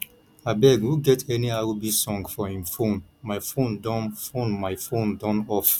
abeg who get any rb song for im phonemy phone Accepted phonemy phone Accepted off